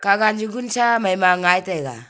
kahga jugunsha maima ngai taiga.